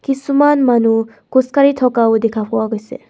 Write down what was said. কিছুমান মানুহ খোজ কাঢ়ি থকাও দেখা পোৱা গৈছে.